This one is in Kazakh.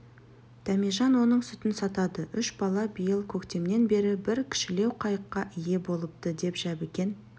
дәмежан оның сүтін сатады үш бала биыл көктемнен бері бір кішілеу қайыққа ие болыпты деп жәбікен